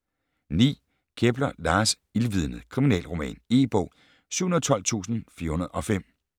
9. Kepler, Lars: Ildvidnet: kriminalroman E-bog 712405